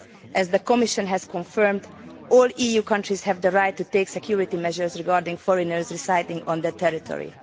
As the Commission has confirmed, all EU countries have the right to take security measures regarding foreigners residing on their territory.